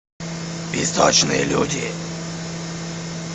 песочные люди